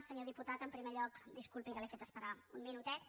senyor diputat en primer lloc disculpi que l’he fet esperar un minutet